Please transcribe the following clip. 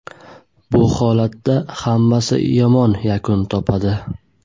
Bu holatda hammasi yomon yakun topadi.